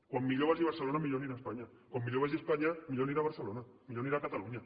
com millor vagi barcelona millor anirà espanya com millor vagi espanya millor anirà barcelona millor anirà catalunya